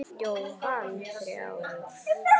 Jóhann: Þrjár?